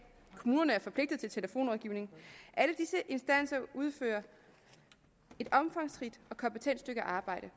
og kommunerne er forpligtet til telefonrådgivning alle disse instanser udfører et omfangsrigt og kompetent stykke arbejde